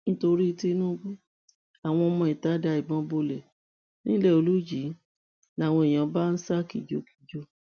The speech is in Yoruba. nítorí tinúbù àwọn ọmọ ìta da ìbọn bolẹ ńilẹolùjì làwọn èèyàn bá ń ṣa kìjokìjo